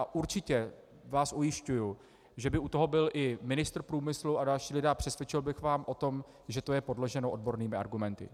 A určitě vás ujišťuji, že by u toho byl i ministr průmyslu a další lidé a přesvědčil bych vás o tom, že to je podloženo odbornými argumenty.